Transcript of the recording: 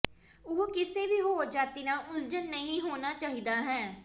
ਉਹ ਕਿਸੇ ਵੀ ਹੋਰ ਜਾਤੀ ਨਾਲ ਉਲਝਣ ਨਹੀ ਹੋਣਾ ਚਾਹੀਦਾ ਹੈ